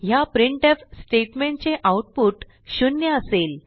ह्या printf statement चे output 0 असेल